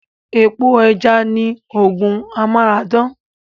Epo ẹja ni oògùn Amara dán